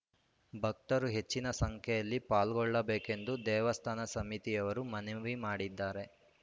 ಭಕ್ತರು ಹೆಚ್ಚಿನ ಸಂಖ್ಯೆಯಲ್ಲಿ ಪಾಲ್ಗೊಳ್ಳಬೇಕೆಂದು ದೇವಸ್ಥಾನ ಸಮಿತಿಯವರು ಮನವಿ ಮಾಡಿದ್ದಾರೆ